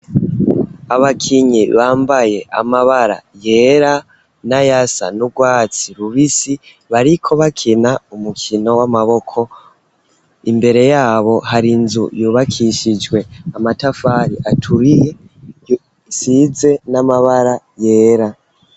Abakinyi bambaye amabara yera nayasa n'ubwatsi rubisi, bariko bakina umukino w'amaboko, imbere yabo hari inzu yubakishijwe amatafari aturiye, isize n'amabara yera.